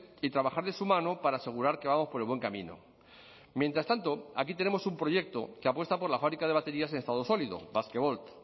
y trabajar de su mano para asegurar que vamos por el buen camino mientras tanto aquí tenemos un proyecto que apuesta por la fábrica de baterías en estado sólido basquevolt